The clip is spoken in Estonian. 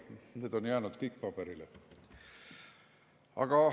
Need on jäänud kõik paberile.